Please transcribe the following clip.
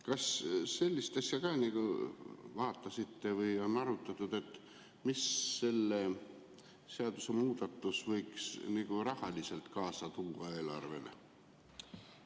Kas sellist asja ka vaatasite või arutati, mida see seadusemuudatus võiks rahaliselt kaasa tuua eelarvele?